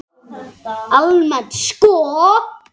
Almennt sko?